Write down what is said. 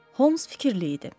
Holms fikirli idi.